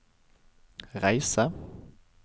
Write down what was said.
reise